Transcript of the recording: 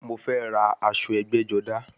Mo fẹ́ ra aṣọ ẹgbẹ́-jọdá.